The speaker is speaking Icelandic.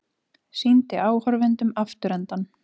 Sýndi áhorfendum afturendann